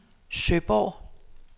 Søborg